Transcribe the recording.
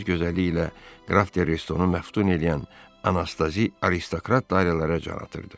Öz gözəlliyi ilə qraf der Restonu məftun eləyən anastazi aristokrat dairələrə can atırdı.